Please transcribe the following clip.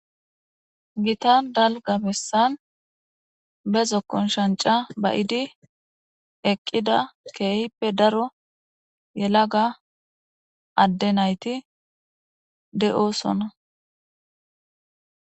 Gitan dalga bessan be zokkon shanca bayidi eqqida keehippe daro yelaga adde nayti de'oosona.